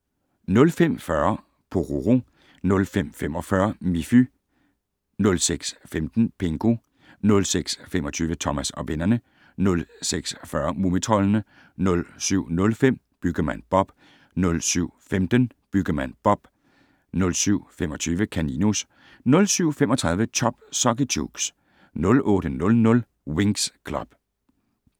05:40: Pororo 05:45: Miffy 06:15: Pingu 06:25: Thomas og vennerne 06:40: Mumitroldene 07:05: Byggemand Bob 07:15: Byggemand Bob 07:25: Kaninus 07:35: Chop Socky Chooks 08:00: Winx Club